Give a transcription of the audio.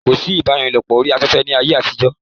kò sí ìbálòpọ̀ orí afẹ́fẹ́ ní ayé àtijọ́